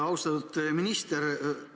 Austatud minister!